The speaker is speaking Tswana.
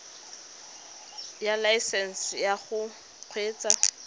ya laesesnse ya go kgweetsa